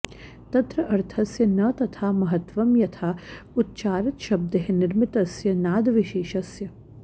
तत्र अर्थस्य न तथा महत्त्वं यथा उच्चारितशब्दैः निर्मितस्य नादविशेषस्य